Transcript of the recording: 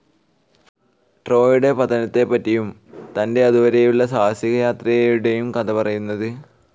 ട്രോയ്യുടെ പതനത്തപ്പറ്റിയും തന്റെ അതു വരേയുളള സാഹസികയാത്രയുടേയും കഥ പറയുന്നത്.